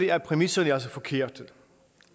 er præmisserne altså forkerte